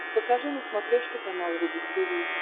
покажи на смотрешке канал рубль ти ви